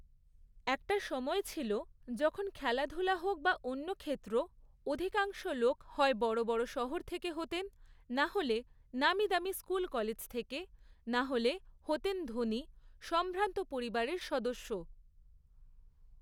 একটা সময় ছিল যখন খেলাধুলা হোক বা অন্য ক্ষেত্র, অধিকাংশ লোক হয় বড় বড় শহর থেকে হতেন, নাহলে নামিদামি স্কুল কলেজ থেকে, নাহলে হতেন ধণী, সম্ভ্রান্ত পরিবারের সদস্য।